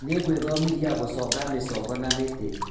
Nĩngwĩthomithia gũconga mĩcongo na mĩtĩ